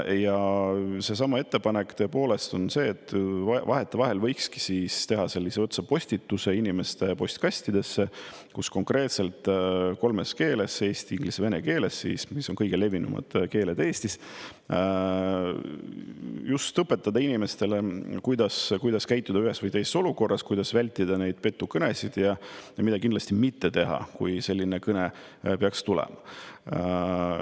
Ja ettepanek on see, et vahetevahel võikski teha sellise otsepostituse inimeste postkastidesse, kus konkreetselt kolmes keeles – eesti, inglise, vene keeles, mis on kõige levinumad keeled Eestis – just õpetada inimestele, kuidas käituda ühes või teises olukorras, kuidas vältida petukõnesid ja mida kindlasti mitte teha, kui selline kõne peaks tulema.